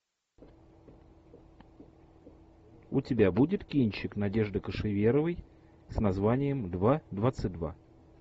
у тебя будет кинчик надежды кошеверовой с названием два двадцать два